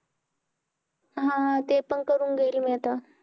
हा ते पण करून घेईल मी आता